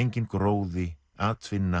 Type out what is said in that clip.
enginn gróði atvinna